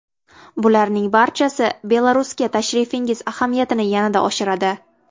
Bularning barchasi Belarusga tashrifingiz ahamiyatini yanada oshiradi.